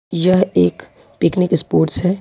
यह एक picnic spots है।